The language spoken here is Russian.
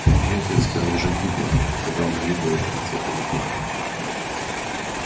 тимирязевская уже гибла когда он увидел её в конце перегона